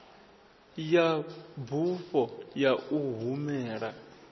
ya bufho ya u humela